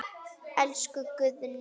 Elsku Guðni minn.